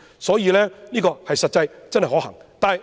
所以，這做法是實際可行的。